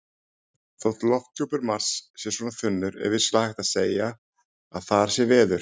Þótt lofthjúpur Mars sé svona þunnur er vissulega hægt að segja að þar sé veður.